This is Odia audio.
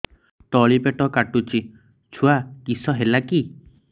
ତଳିପେଟ କାଟୁଚି ଛୁଆ କିଶ ହେଲା କି